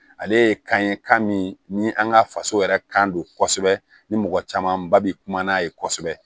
Ale ye kan ye kan min ni an ka faso yɛrɛ kan kosɛbɛ ni mɔgɔ caman ba bi kuma n'a ye kosɛbɛ